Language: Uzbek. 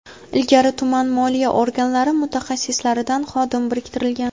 Ilgari tuman moliya organlari mutaxassislaridan xodim biriktirilgan.